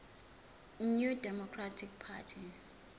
new democratic party